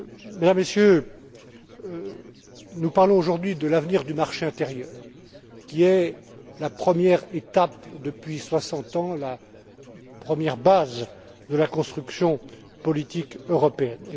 Mesdames et Messieurs, nous parlons aujourd'hui de l'avenir du marché intérieur, qui est la première étape, depuis soixante ans, la première base de la construction politique européenne.